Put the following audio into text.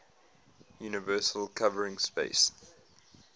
universal covering space